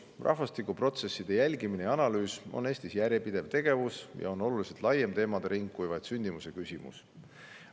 Rahvastikuprotsesside jälgimine ja analüüs on Eestis järjepidev tegevus ja teemade ring on oluliselt laiem kui vaid sündimuse küsimus.